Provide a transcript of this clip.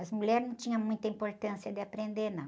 As mulheres não tinham muita importância de aprender, não.